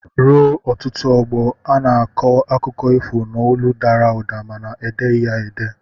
Ruo ọtụtụ ọgbọ, a na-akọ akụkọ ifo n'olu dara ụda mana edeghị ya ede.